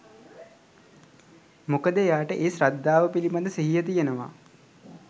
මොකද එයාට ඒ ශ්‍රද්ධාව පිළිබඳ සිහිය තියෙනවා.